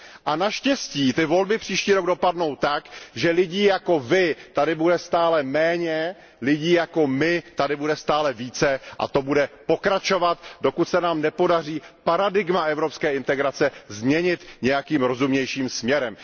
A naštěstí ty volby příští rok dopadnou tak, že lidí jako vy tady bude stále méně, lidí jako my tady bude stále více, a to bude pokračovat, dokud se nám nepodaří paradigma evropské integrace změnit nějakým rozumnějším směrem.